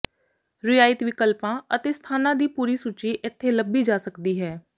ਰਿਆਇਤ ਵਿਕਲਪਾਂ ਅਤੇ ਸਥਾਨਾਂ ਦੀ ਪੂਰੀ ਸੂਚੀ ਇੱਥੇ ਲੱਭੀ ਜਾ ਸਕਦੀ ਹੈ